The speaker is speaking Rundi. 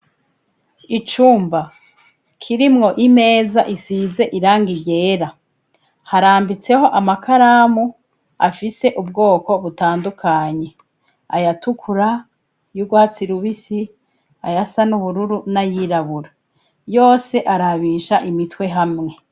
Icumba kirimwo imeza isize irangi ryera, harambitseho amakaramu afise ubwoko butandukanye aya tukura y'ubwatsi rubisi ayasa n'ubururu nayirabura yose arabisha imitwe hamwe